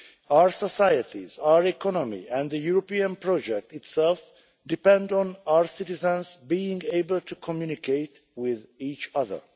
Our societies, our economy and the European project itself depend on our citizens being able to communicate with each other.